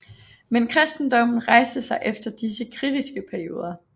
Men kristendommen rejste sig efter disse kritiske perioder